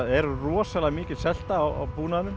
er rosalega mikil selta á